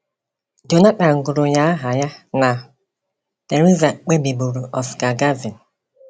Jonathan gụrụ ya aha ya na Theresa kpebiburu Oscar Gavin.